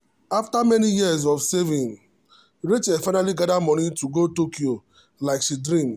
after many years of saving rachel finally gather money go tokyo like she dream.